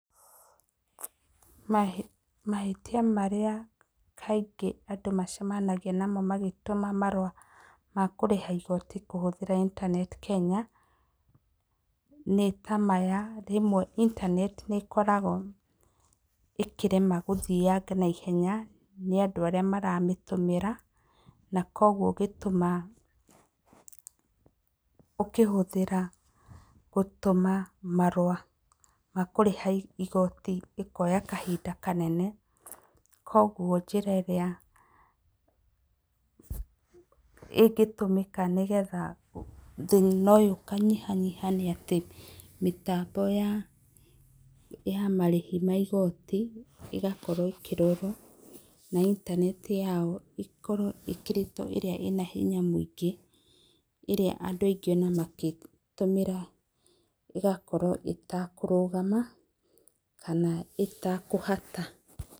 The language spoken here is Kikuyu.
Mahĩtia marĩa kaingĩ andũ macemanagia namo magĩtũma marũa ma kũrĩha igoti kũhũthĩra intaneti Kenya nĩ ta maya; Rĩmwe intaneti nĩ ĩkoragwo ĩkĩrema gũthianga naihenya nĩ andũ arĩa maramĩhũthĩra na kwoguo ũgĩtũma ũkĩhũthĩra gũtũma marũa ma kũrĩha igoti ĩkoya kahinda kanene. Kwoguo njĩra ĩrĩa ĩngĩtũmĩka nĩgetha thĩna ũyũ ũkanyihanyiha nĩ atĩ mĩtambo ya marĩhi ma igoti ĩgakorwo na intaneti yao ĩkorwo ĩĩkĩrĩtwo ĩrĩa ĩna hinya mũingĩ, ĩrĩa andũ aingĩ ona magĩtũmĩra ĩgakorwo ĩtakũrũgama kana ĩtakũhata.